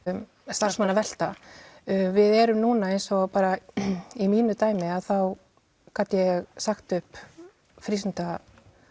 starfsmannavelta við erum núna eins og í mínu dæmi þá gat ég sagt upp